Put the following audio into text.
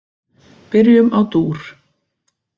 Byrjum á dúr.